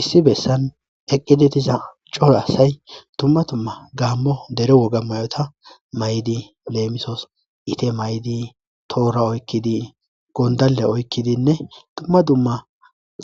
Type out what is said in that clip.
issi bessan eqqidi diza colo asay tumma tumma gaammo dere woga mayota maydi leemisoos ite maydi toora oykkidi gondale oykkidinne tumma dumma